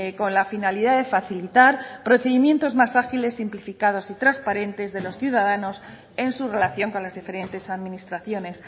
con la finalidad de facilitar procedimientos más ágiles simplificados y transparentes de los ciudadanos en su relación con las diferentes administraciones